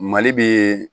Mali bi